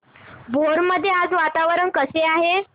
भोर मध्ये आज वातावरण कसे आहे